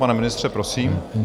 Pane ministře, prosím.